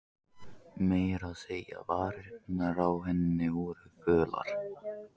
Meira að segja varirnar á henni voru fölar.